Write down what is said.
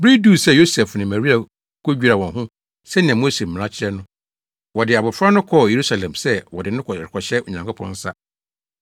Bere duu sɛ Yosef ne Maria kodwira wɔn ho sɛnea Mose mmara kyerɛ no, wɔde abofra no kɔɔ Yerusalem sɛ wɔde no rekɔhyɛ Onyankopɔn nsa.